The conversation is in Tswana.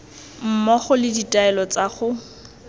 mmogo le ditaelo tsa go